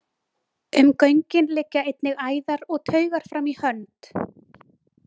Um göngin liggja einnig æðar og taugar fram í hönd.